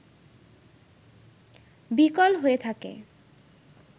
বিকল হয়ে থাকে